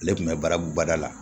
Ale tun bɛ barabubada la